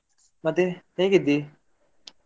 ಮತ್ತೆ ಹೇಗಿದ್ದಿ?